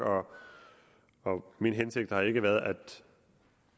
min hensigt har ikke været